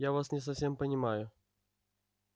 я вас не совсем понимаю